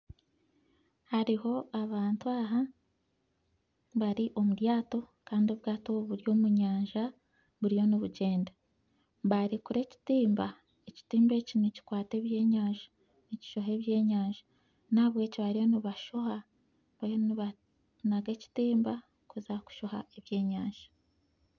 Haruho abantu aha bari omubwato Kandi obwato obu buri omunyanja buriyo nibugyenda barekura ekitimba, ekitimba eki nikikwata eby'enyanja nikishoha eby'enyanja nahabwekyo bariyo nibashoha bariyo nibanaga ekitimba kuza kushoha eby'enyanja.